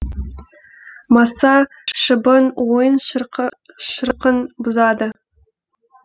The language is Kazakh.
маса шыбын ойын шырқын бұзады